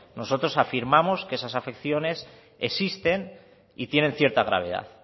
nosotros afirmamos que esas afecciones existen y tienen cierta gravedad